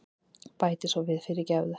Bæti svo við, fyrirgefðu.